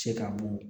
Se ka bo